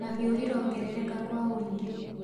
mahiũ irongerereka kwa wũingi